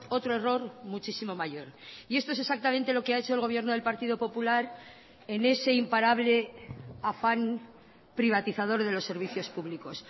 otro error muchísimo mayor y esto es exactamente lo que ha hecho el gobierno del partido popular en ese imparable afán privatizador de los servicios públicos